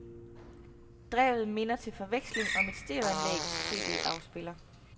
Drevet minder til forveksling om et stereoanlægs CD afspiller.